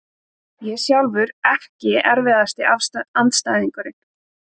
Ég sjálfur EKKI erfiðasti andstæðingur?